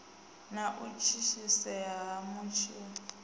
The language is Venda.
na u thithisea ha matshilo